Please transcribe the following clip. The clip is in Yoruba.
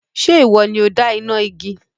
Ǹjẹ́ ìwọ ni ó dá iná igi?